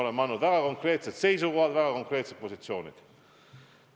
Meil on väga konkreetsed seisukohad, väga konkreetsed positsioonid.